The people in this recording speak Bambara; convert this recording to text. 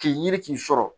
K'i yiri k'i sɔrɔ